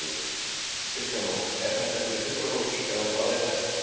Kristján Már: Er þetta fyrir sjúkrahús eða hvað er þetta?